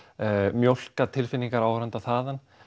mjólka tilfinningar áhorfenda þaðan